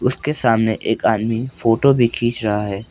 उसके सामने एक आदमी फोटो भी खींच रहा है।